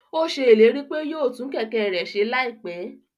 Ó ṣe ìlérí pé yóò tún Kẹ̀kẹ́ rẹ̀ ṣe láìpẹ́